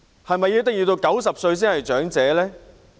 是否一定要到90歲才算是長者呢？